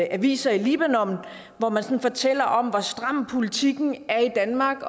aviser i libanon hvor man sådan fortæller om hvor stram politikken er i danmark